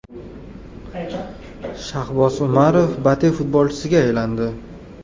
Shahboz Umarov BATE futbolchisiga aylandi.